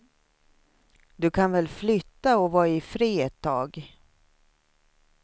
Du kan väl flytta och vara ifred ett tag.